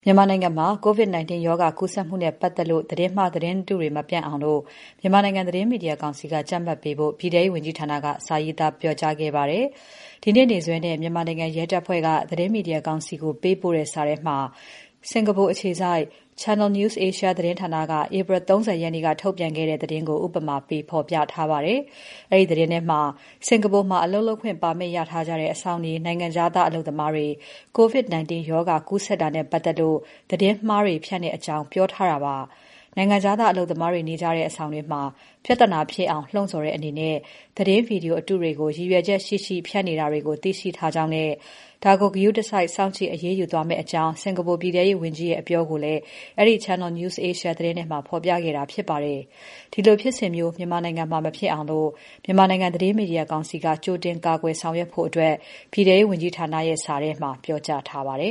မြန်မာနိုင်ငံမှာ COVID-19 ရောဂါ ကူးစက်မှုနဲ့ ပတ်သက်လို့ သတင်းမှား၊ သတင်းတုတွေ မပြန့်အောင် မြန်မာနိုင်ငံ သတင်းမီဒီယာကောင်စီက ကြပ်မတ်ပေးဖို့ ပြည်ထဲရေးဝန်ကြီးဌာနက စာပေးပို့ပြောကြားခဲ့ပါတယ်။ မေလ ၂၀ ရက်နေ့စွဲနဲ့ မြန်မာနိုင်ငံ ရဲတပ်ဖွဲ့က သတင်းမီဒီယာကောင်စီကို ပေးပို့တဲ့စာထဲမှာ စင်္ကာပူအခြေစိုက် Channel News Asia သတင်းဌာနက ဧပြီလ ၃၀ ရက်နေ့က ထုတ်ပြန်ခဲ့တဲ့သတင်းကို ဥပမာပေးဖော်ပြထားပါတယ်။ အဲဒီသတင်းထဲမှာ စင်္ကာပူမှာ အလုပ်လုပ်ခွင့်ပါမစ်ရထားကြတဲ့ အဆောင်နေ နိုင်ငံခြားသား အလုပ်သမားတွေ COVID-19 ရောဂါကူးစက်တာနဲ့ ပတ်သက်လို့ သတင်းမှားတွေ ဖြန့်တဲ့အကြောင်း ပြောထားတာပါ။ နိုင်ငံခြားသားအလုပ်သမားတွေ နေကြတဲ့ အဆောင်တွေမှာ ပြဿနာဖြစ်အောင် လှုံ့ဆောင်တဲ့အနေနဲ့ သတင်း Video အတုတွေကို ရည်ရွယ်ချက်ရှိရှိ ဖြန့်နေတာကို သိရှိထားကြောင်းနဲ့ ဒါကို ဂရုတစိုက် စောင့်ကြည့် အရေးယူသွားမယ့်အကြောင်း စင်္ကာပူ ပြည်ထဲရေးဝန်ကြီးရဲ့ အပြောကိုလည်း အဲဒီ Channel News Asia သတင်းထဲမှာ ဖော်ပြခဲ့တာဖြစ်ပါတယ်။ ဒီလိုဖြစ်စဉ်မျိုး မြန်မာနိုင်ငံမှာ မဖြစ်အောင် မြန်မာနိုင်ငံသတင်းမီဒီယာကောင်စီက ကြိုတင်ကာကွယ်ဆောင်ရွက်ဖို့ ပြည်ထဲရေးဝန်ကြီးဌာနရဲ့စာထဲမှာ ပြောကြားထားပါတယ